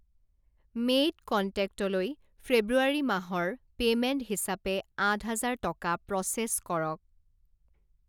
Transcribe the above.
Maid কণ্টেক্টলৈ ফেব্ৰুৱাৰী মাহৰ পে'মেণ্ট হিচাপে আঠ হাজাৰ টকা প্ৰ'চেছ কৰক।